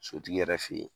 Sotigi yɛrɛ fɛ yen